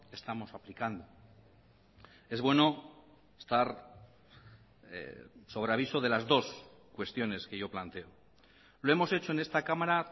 estamos aplicando es bueno estar sobre aviso de las dos cuestiones que yo planteo lo hemos hecho en esta cámara